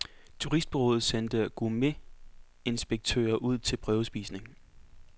Turistbureauet sendte gourmetinspektører ud til prøvespisning.